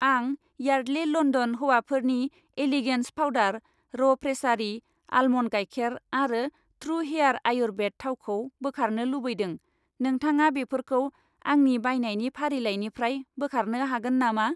आं Yardley London हौवाफोरनि elegance फाउदार, र' प्रेसारी आलमन्ड गाइखेर आरो त्रु हेयार आयुर्वेद थाव खौ बोखारनो लुबैदों, नोंथाङा बेफोरखौ आंनि बायनायनि फारिलाइनिफ्राय बोखारनो हागोन नामा?